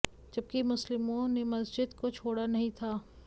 जबकि मुस्लिमों ने मस्जिद को छोड़ा नहीं था